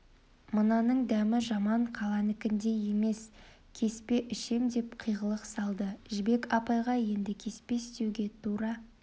мынаның дәмі жаман қаланыкіндей емес кеспе ішем деп қиғылық салды жібек апайға еңді кеспе істеуге тура